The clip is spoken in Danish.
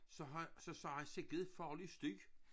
Så har så sagde han sikke en farlig støj